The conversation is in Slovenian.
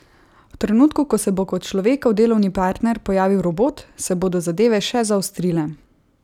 V trenutku, ko se bo kot človekov delovni partner pojavil robot, se bodo zadeve še zaostrile.